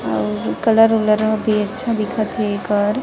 और ए कलर उलर भी अच्छा दिखत हे एकर --